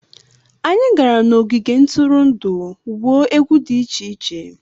Anyị gara n'ogige ntụrụndụ gwuo egwu dị iche iche.